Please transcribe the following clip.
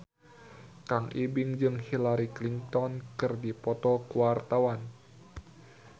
Kang Ibing jeung Hillary Clinton keur dipoto ku wartawan